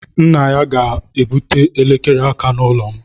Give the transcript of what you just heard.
Nna ya ga-ebute elekere aka n'ụlọ m.